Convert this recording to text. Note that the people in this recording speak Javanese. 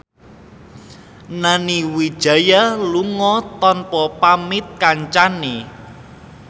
Nani Wijaya lunga tanpa pamit kancane